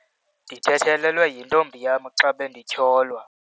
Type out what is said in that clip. Ndithethelelwe yintombi yam xa bendityholwa.